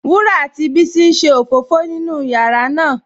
Wurà àti Bísí n ṣé ofófò nínú yàrá ná